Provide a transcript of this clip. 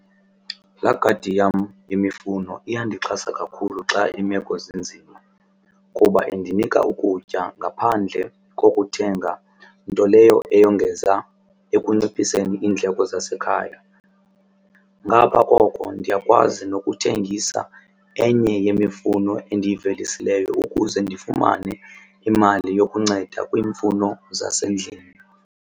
Laa gadi yam yemifuno iyandixhasa kakhulu xa iimeko zinzima kuba indinika ukutya ngaphandle kokuthenga nto leyo eyongeza ekunciphiseni iindleko zasekhaya. Ngapha koko ndiyakwazi nokuthengisa enye yemifuno endiyivelisileyo ukuze ndifumane imali yokunceda kwiimfuno zasendlini.